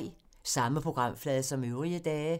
Samme programflade som øvrige dage